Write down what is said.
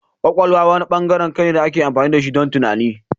Kwakwalwa wani bangaren kai ne da ake amfani da shi don tunani.